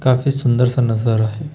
काफी सुंदर सा नजारा हैं।